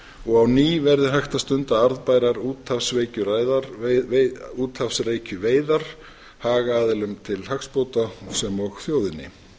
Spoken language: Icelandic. og á ný verði hægt að stunda arðbærar úthafsrækjuveiðar hagaðilum til hagsbóta sem og þjóðinni